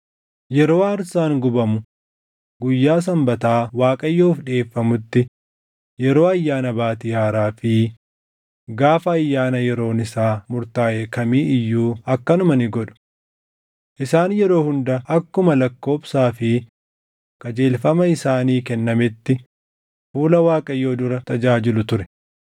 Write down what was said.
yeroo aarsaan gubamu guyyaa Sanbataa Waaqayyoof dhiʼeeffamutti yeroo Ayyaana Baatii Haaraa fi gaafa ayyaana yeroon isaa murtaaʼe kamii iyyuu akkanuma ni godhu. Isaan yeroo hunda akkuma lakkoobsaa fi qajeelfama isaanii kennameetti fuula Waaqayyoo dura tajaajilu ture.